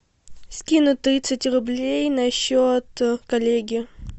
скинуть тридцать рублей на счет коллеги